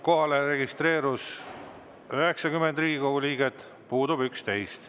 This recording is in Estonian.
Kohalolijaks registreerus 90 Riigikogu liiget, puudub 11.